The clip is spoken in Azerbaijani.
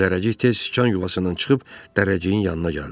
Zərrəcik tez sıxıq yuvasından çıxıb, Dərrəciyin yanına gəldi.